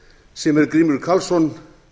sem er grímur karlsson